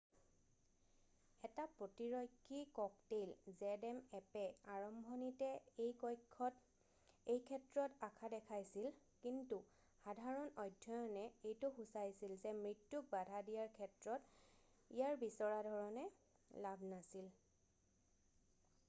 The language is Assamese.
এটা প্ৰতিৰক্ষী ককতেইল zmappয়ে আৰম্ভণিতে এইক্ষেত্ৰত আশা দেখাইছিল কিন্তু সাধাৰণ অধ্যয়নে এইটো সুচাইছিল যে মৃত্যুক বাধা দিয়াৰ ক্ষেত্ৰত ইয়াৰ বিচৰা ধৰণে লাভ নাছিল।